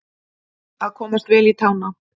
Að komast vel í tána